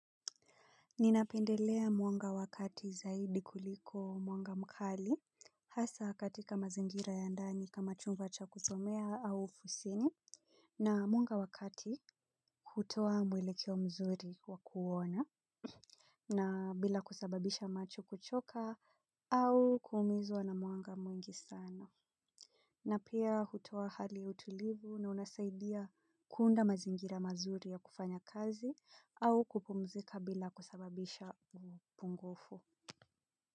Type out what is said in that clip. Ninapendelea mwanga wa kati zaidi kuliko mwanga mkali hasa katika mazingira ya ndani kama chumba cha kusomea au ofisini na mwanga wa kati hutoa mwelekeo mzuri wa kuona na bila kusababisha macho kuchoka au kuumizwa na mwanga mwingi sana. Na pia hutoa hali ya utulivu na unasaidia kuunda mazingira mazuri ya kufanya kazi au kupumzika bila kusababisha upungufu.